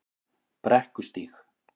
Brekkustíg